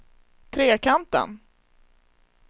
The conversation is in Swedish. Trekanten